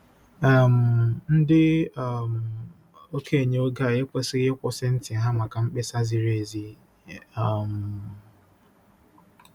um Ndị um okenye nke oge a ekwesịghị ‘ịkwụsị ntị ha’ maka mkpesa ziri ezi um.